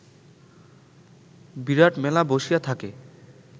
বিরাট মেলা বসিয়া থাকে